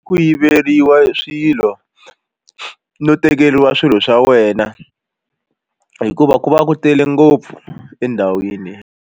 Ku yiveriwa swilo no tekeriwa swilo swa wena hikuva ku va ku tele ngopfu endhawini.